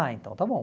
Ah, então está bom.